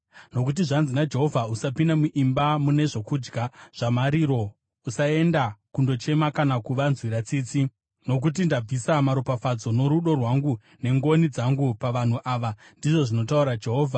Nokuti zvanzi naJehovha: “Usapinda muimba mune zvokudya zvamariro: usaenda kundochema kana kuvanzwira tsitsi, nokuti ndabvisa maropafadzo norudo rwangu nengoni dzangu pavanhu ava,” ndizvo zvinotaura Jehovha.